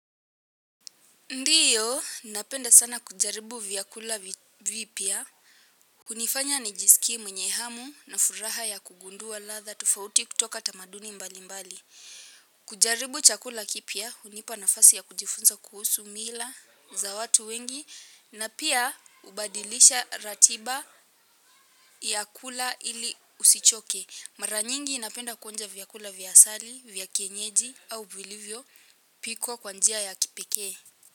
Ndiyo, napenda sana kujaribu vyakula vipya. Unifanya nijisikie mwenye hamu na furaha ya kugundua ladha tufaoti kutoka tamaduni mbalimbali. Kujaribu chakula kipya, hunipa nafasi ya kujifunza kuhusu mila za watu wengi. Na pia, ubadilisha ratiba ya kula ili usichoke. Mara nyingi napenda kuonja vyakula vya asali, vya kienyeji au vilivyopikwo kwa njia ya kipekee.